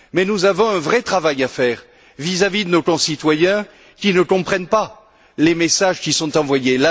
Mais nous avons un vrai travail à faire vis à vis de nos concitoyens qui ne comprennent pas les messages qui sont envoyés.